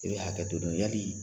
I bɛ hakɛ dɔɔni yali